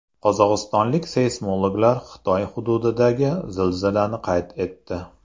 Qozog‘istonlik seysmologlar Xitoy hududidagi zilzilani qayd etdi.